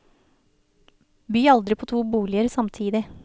By aldri på to boliger samtidig.